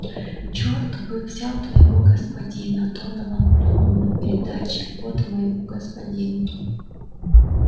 черт бы взял твоего господина донован плюнул на передатчик вот твоему господину